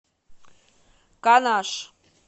канаш